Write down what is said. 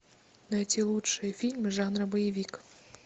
найти лучшие фильмы жанра боевик